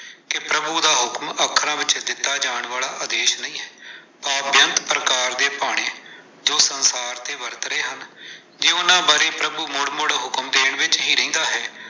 ਕਿ ਪ੍ਰਭੂ ਦਾ ਹੁਕਮ ਅੱਖਰਾਂ ਵਿੱਚ ਦਿੱਤਾ ਜਾਣ ਵਾਲਾ ਆਦੇਸ਼ ਨਹੀਂ ਹੈ, ਆਹ ਬੇਅੰਤ ਪ੍ਰਕਾਰ ਦੇ ਭਾਣੇ ਜੋ ਸੰਸਾਰ ਤੇ ਵਰਤ ਰਹੇ ਹਨ, ਤੇ ਉਹਨਾਂ ਬਾਰੇ ਪ੍ਰਭੂ ਮੁੜ-ਮੁੜ ਹੁਕਮ ਦੇਣ ਵਿੱਚ ਹੀ ਰਹਿੰਦਾ ਹੈ।